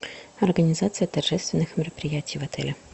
организация торжественных мероприятий в отеле